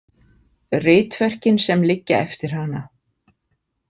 Ritverkin sem liggja eftir hana